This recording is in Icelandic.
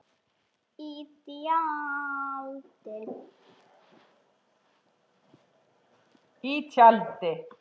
Í tjaldi.